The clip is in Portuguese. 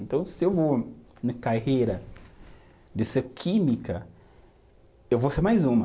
Então, se eu vou na carreira de ser química, eu vou ser mais uma.